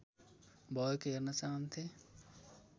भएको हेर्न चाहन्थे